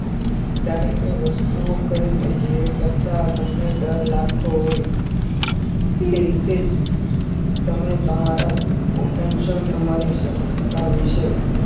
ત્યારે એ વસ્તુ કરવી પડશે એ કરતા તમને ડર લાગતો હોય એ રીતે જ તમે તમારા attention તમારી વિશે